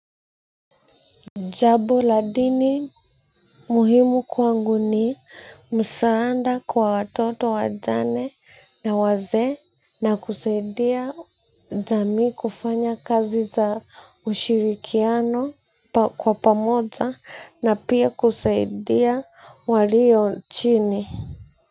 Jambo la dini muhimu kwangu ni msaada kwa watoto wajane na wazee na kusaidia jamii kufanya kazi za ushirikiano kwa pamoja na pia kusaidia walio chini.